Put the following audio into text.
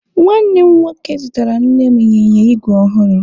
Nwanne m nwoke zụtara Nne m ịnyịnya igwe ọhụrụ.